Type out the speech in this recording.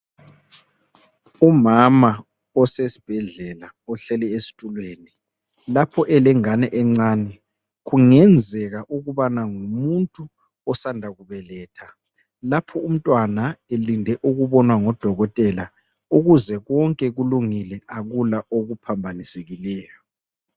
Umama osesibhedlela ohleli esitulweni, lapho elengane encane kungenzeka ukubana ngumuntu osanda kubeletha lapho umntwana elinde ukubonwa ngodokotela ukuze konke kulungile akula okuphambanisekileyo.